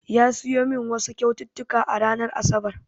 Ya siya min wasu kyaututtuka a ranar asabar